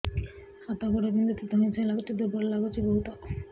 ହାତ ଗୋଡ ବିନ୍ଧୁଛି ଧଇଁସଇଁ ଲାଗୁଚି ଦୁର୍ବଳ ଲାଗୁଚି ବହୁତ